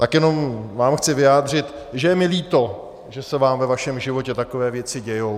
Tak jenom vám chci vyjádřit, že je mi líto, že se vám ve vašem životě takové věci dějí.